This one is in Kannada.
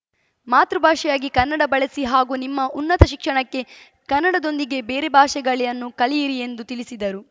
ಮಾತೃ ಭಾಷೆಯಾಗಿ ಕನ್ನಡ ಬಳಸಿ ಹಾಗೂ ನಿಮ್ಮ ಉನ್ನತ ಶಿಕ್ಷಣಕ್ಕೆ ಕನ್ನಡದೊಂದಿಗೆ ಬೇರೆ ಭಾಷೆಗಳನ್ನು ಕಲಿಯಿರಿ ಎಂದು ತಿಳಿಸಿದರು